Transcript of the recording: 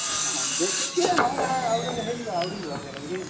ହଁ, ଦେଖି କେଜାନେ ହୋ ହେଟା ହେଇଯିବା out ହେଇଯିବା ଭଲିଆ ଲାଗୁଛେ।